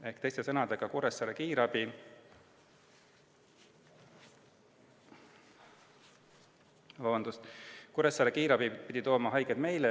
Ehk teiste sõnadega, Kuressaare kiirabi pidi tooma haiged meile.